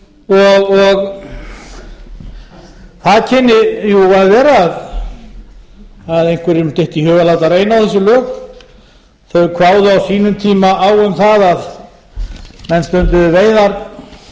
og það kynni að vera að einhverjum dytti í hug að láta reyna á þessi lög þau kváðu á sínum tíma á um það að menn stunduðu veiðar